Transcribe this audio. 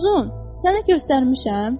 Uzun, sənə göstərmişəm?